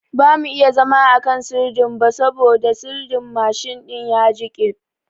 bamu iya zama a kan sirdin ba sabo sirdin mshin din ya jiƙe